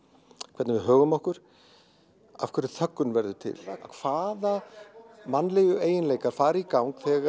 hvernig við högum okkur af hverju þöggun verður til hvaða mannlegu eiginleikar fara í gang þegar